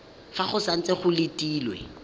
fa go santse go letilwe